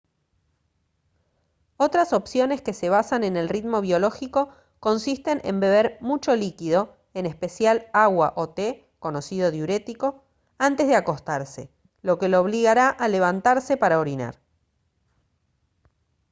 otras opciones que se basan en el ritmo biológico consisten en beber mucho líquido en especial agua o té conocido diurético antes de acostarse lo que lo obligará a levantarse para orinar